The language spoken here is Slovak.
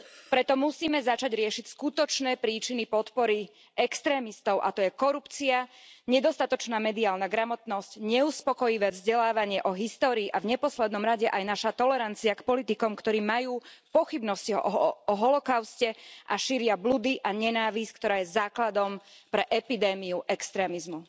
Preto musíme začať riešiť skutočné príčiny podpory extrémistov, a to je korupcia, nedostatočná mediálna gramotnosť, neuspokojivé vzdelávanie o histórii a v neposlednom rade aj naša tolerancia k politikom, ktorí majú pochybnosti o holokauste a šíria bludy a nenávisť, ktorá je základom pre epidémiu extrémizmu.